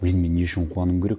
енді мен не үшін қуануым керек